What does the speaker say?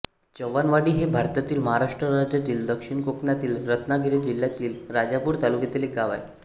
चव्हाणवाडी हे भारतातील महाराष्ट्र राज्यातील दक्षिण कोकणातील रत्नागिरी जिल्ह्यातील राजापूर तालुक्यातील एक गाव आहे